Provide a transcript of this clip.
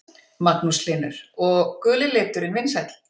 Magnús Hlynur: Og guli liturinn vinsæll?